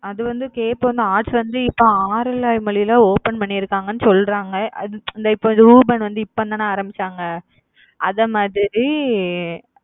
அது வந்து arts வந்து இப்ப ஆரல்வாய்மொழில open பண்ணியிருக்காங்கன்னு சொல்றாங்க அது இப்ப வந்து இப்பதான ஆரம்பிச்சாங்க அதை மாதிரி